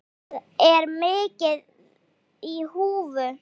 Þar er mikið í húfi.